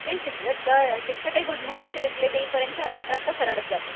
ते शिक्षकही good morning चा रिप्लाय देई पर्यंत अर्धा तास तर सरळच जातो